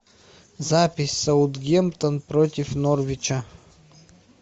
запись саутгемптон против норвича